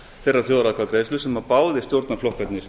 þeirrar þjóðaratkvæðagreiðslu sem báðir stjórnarflokkarnir